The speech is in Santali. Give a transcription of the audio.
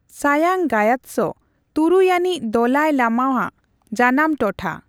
ᱥᱟᱝᱭᱟᱝ ᱜᱟᱭᱟᱛᱥᱚ ᱛᱩᱨᱩᱭ ᱟᱹᱱᱤᱡ ᱫᱟᱞᱟᱭᱤ ᱞᱟᱢᱟ ᱟᱜ ᱡᱟᱱᱟᱢ ᱴᱚᱴᱷᱟ ᱾